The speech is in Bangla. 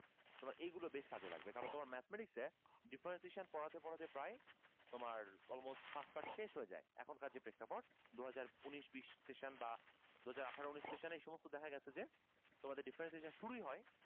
তোমার এইগুলো বেশ কাজে লাগবে কারণ তোমার mathematics এ differentiation পড়াতে পড়াতে প্রায় তোমার almost chapter শেষ হয়ে যায় এখনকার যে প্রেক্ষাপট দুই হাজার উনিশ বিশ session বা দুই হাজার আঠারো উনিশ session এ দেখা গেছে যে তোমাদের differentiation শুরুই হয়